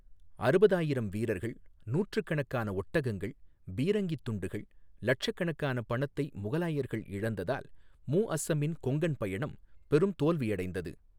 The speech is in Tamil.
அறுபதாயிரம் வீரர்கள், நூற்றுக்கணக்கான ஒட்டகங்கள், பீரங்கித் துண்டுகள், லட்சக்கணக்கான பணத்தை முகலாயர்கள் இழந்ததால், முஅஸ்ஸமின் கொங்கன் பயணம் பெரும் தோல்வியடைந்தது.